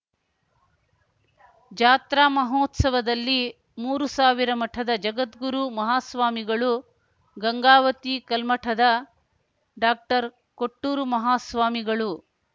ಜಾತ್ರಾ ಮಹೋತ್ಸವದಲ್ಲಿ ಮೂರುಸಾವಿರ ಮಠದ ಜಗದ್ಗುರು ಮಹಾಸ್ವಾಮಿಗಳು ಗಂಗಾವತಿ ಕಲ್ಮಠದ ಡಾಕ್ಟರ್ಕೊಟ್ಟೂರುಮಾಹಾಸ್ವಾಮಿಗಳು